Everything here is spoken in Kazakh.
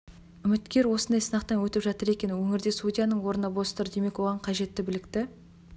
үміткер осындай сынақтан өтіп жатыр екен өңірде судьяның орны бос тұр демек оған қажетті білікті